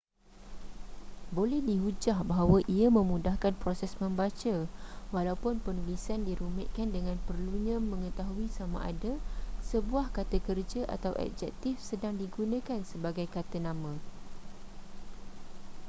boleh dihujah bahawa ia memudahkan proses membaca walaupun penulisan dirumitkan dengan perlunya mengetahui sama ada sebuah kata kerja atau adjektif sedang digunakan sebagai kata nama